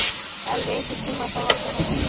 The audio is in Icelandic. Elvi, einhvern tímann þarf allt að taka enda.